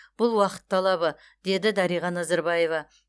бұл уақыт талабы деді дариға назарбаева